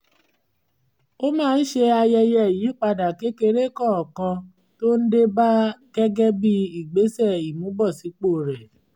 ó máa ń ṣe ayẹyẹ ìyípadà kékeré kọ̀ọ̀kan tó ń dé ba gẹ́gẹ́ bí ìgbésẹ̀ ìmúbọ̀sípò rẹ̀